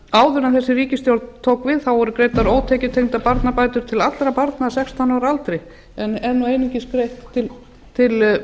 áður en þessi ríkisstjórn tók við voru greiddar ótekjutengdar barnabætur til allra barna að sextán ára aldri en einungis greitt til